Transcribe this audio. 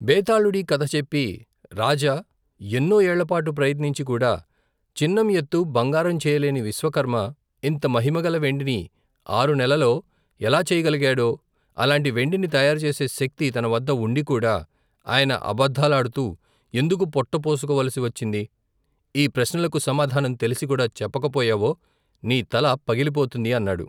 బేతాళుడీ కధ చెప్పి రాజా ఎన్నో ఏళ్ళపాటు ప్రయత్నించికూడా చిన్నంఎత్తు బంగారం చెయ్యలేని విశ్వకర్మ ఇంతమహిమగల వెండిని ఆరునెలలో ఎలా చేయగలిగాడు అలాంటి వెండిని తయారు చేసే శక్తి తనవద్ద వుండికూడా ఆయన అబద్దాలాడుతూ ఎందుకు పొట్టపోసుకోవలసివచ్చింది ఈ ప్రశ్నలకు సమాధానం తెలిసికూడా చెప్పకపోయావో నీతల పగిలిపోతుంది అన్నాడు.